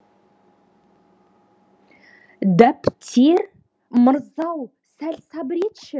дәптер мырза ау сәл сабыр етші